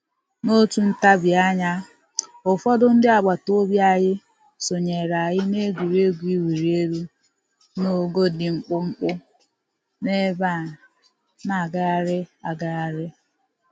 N'otu ntabianya, ụfọdụ ndị agbataobi anyị sonyere anyị n'egwuregwu iwuli elu n'ogo dị mkpụmkpụ n'ebe a na-agagharị agagharị